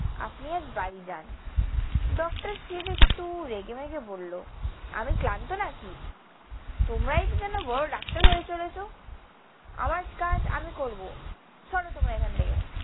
আপনি আজ বাড়ি যান। ডক্টর শিব একটু রেগেমেগে বলল, আমি ক্লান্ত নাকি? তোমরাই কি যেন বড় ডাক্তার হয়ে চলেছ। আমার কাজ আমি করব। সরো তোমরা এখান থেকে।